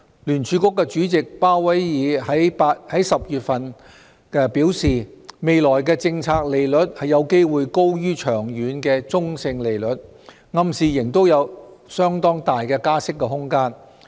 聯儲局主席鮑威爾在10月初表示，未來的政策利率有機會高於長遠的中性利率，暗示仍有相當大的加息空間。